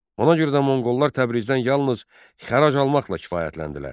Ona görə də Monqollar Təbrizdən yalnız xərac almaqla kifayətləndilər.